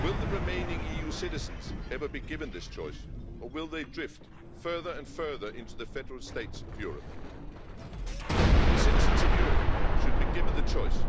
Will the remaining EU citizens ever be given this choice or will they drift further and further into the Federal States of Europe? The citizens of Europe should be given the choice